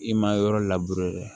I ma yɔrɔ dɛ